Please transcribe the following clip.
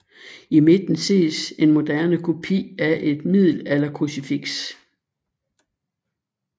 I midten ses en moderne kopi af et middelalderkrucifiks